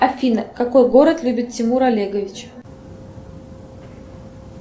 афина какой город любит тимур олегович